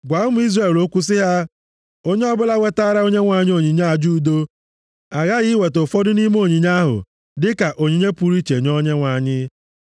“Gwa ụmụ Izrel okwu sị ha, ‘Onye ọbụla wetaara Onyenwe anyị onyinye aja udo aghaghị iweta ụfọdụ nʼime onyinye ahụ dịka onyinye pụrụ iche nye Onyenwe anyị.